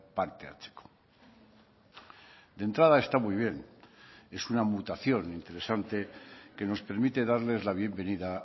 parte hartzeko de entrada está muy bien es una mutación interesante que nos permite darles la bienvenida